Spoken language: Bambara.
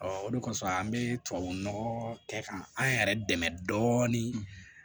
o de kɔsɔn an be tubabu nɔgɔ kɛ ka an yɛrɛ dɛmɛ dɔɔnin